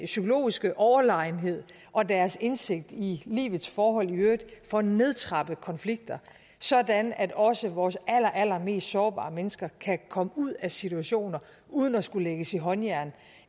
psykologiske overlegenhed og deres indsigt i livets forhold i øvrigt får nedtrappet konflikter sådan at også vores allerallermest sårbare mennesker kan komme ud af situationer uden at skulle lægges i håndjern